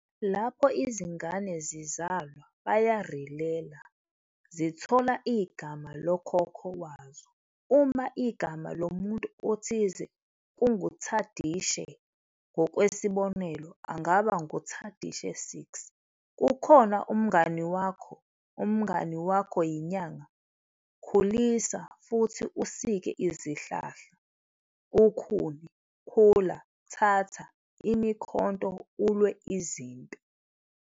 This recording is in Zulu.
Lapho izingane zizalwa "ba ya relela", zithola igama lokhokho wazo. Uma igama lomuntu othile kunguThadishe, ngokwesibonelo, angaba nguThadishe 6. Kukhona umngani wakho. Umngani wakho yinyanga, khulisa futhi usike izihlahla, ukhuni, khula, thatha imikhonto ulwe izimpi.